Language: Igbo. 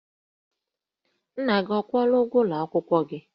Nna gị ọ kwụọla ụgwọ ụlọ akwụkwọ gị?